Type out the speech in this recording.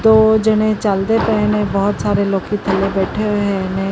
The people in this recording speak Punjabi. ਦੋ ਜਣੇ ਚਲਦੇ ਪਏ ਨੇ ਬਹੁਤ ਸਾਰੇ ਲੋਕੀ ਥੱਲੇ ਬੈਠੇ ਹੋਏ ਨੇ।